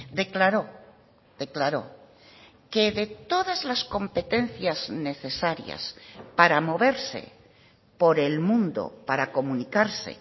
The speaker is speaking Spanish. declaró declaró que de todas las competencias necesarias para moverse por el mundo para comunicarse